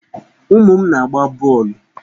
Ụmụ m na-agba bọọlụ.